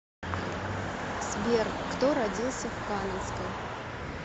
сбер кто родился в каменской